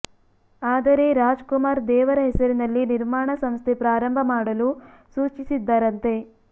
ಆದರೆ ರಾಜ್ ಕುಮಾರ್ ದೇವರ ಹೆಸರಿನಲ್ಲಿ ನಿರ್ಮಾಣ ಸಂಸ್ಥೆ ಪ್ರಾರಂಭ ಮಾಡಲು ಸೂಚಿಸಿದ್ದರಂತೆ